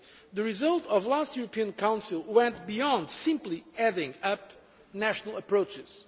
The result of the last European Council went beyond simply adding up national approaches.